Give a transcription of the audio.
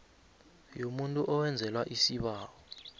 yomuntu owenzelwa isibawo